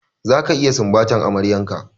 Zaka iya sumbatar amaryar ka!